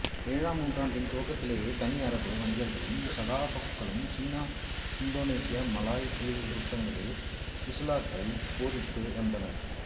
ஏழாம் நூற்றாண்டின் துவக்கத்திலேயே தனி அரபு வணிகர்களும் சகபாக்களும் சீனா இந்தோசீனா மலாய் தீவுக்கூட்டங்களில் இசுலாத்தை போதித்து வந்தனர்